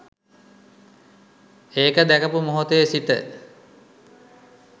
ඒක දැකපු මොහොතේ සිට